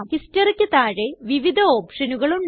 Historyയ്ക്ക് താഴെ വിവിധ ഓപ്ഷനുകൾ ഉണ്ട്